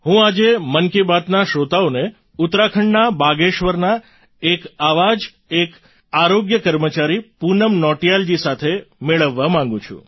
હું આજે મન કી બાતના શ્રોતાઓને ઉત્તરાખંડના બાગેશ્વરનાં એક આવા જ એક મહિલા આરોગ્ય કર્મચારી પૂનમ નોટિયાલજી સાથે મેળવવા માગું છું